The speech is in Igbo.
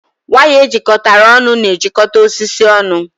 Waya ejikọtara ọnụ na-ejikọta osisi ọnụ